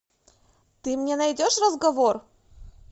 ты мне найдешь разговор